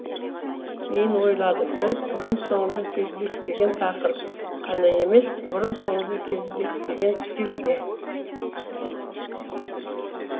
кейін ойладым бұл бұрын соңды кездеспеген тақырып қана емес бұрын соңды кездеспеген стиль де